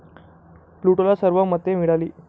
प्लुटोला सर्व मते मिळाली.